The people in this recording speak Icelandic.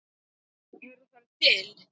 Eru þær til?